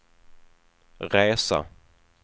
resa